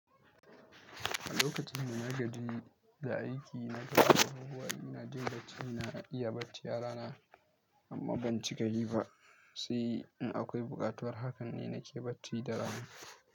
A lokacin da na gaji da aiki, na ga abubuwa ina jin da cina iya ɓacewae yara na amma ban ci gari ba, sai in akwai buƙatuwar haka ne nake bacci da rana.